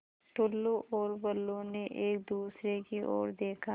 टुल्लु और बुल्लु ने एक दूसरे की ओर देखा